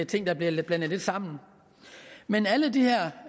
ting der bliver blandet lidt sammen men alle de her